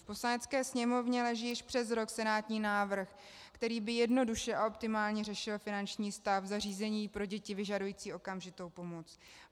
V Poslanecké sněmovně leží již přes rok senátní návrh, který by jednoduše a optimálně řešil finanční stav zařízení pro děti vyžadující okamžitou pomoc.